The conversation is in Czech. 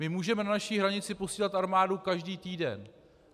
My můžeme na naši hranici posílat armádu každý týden.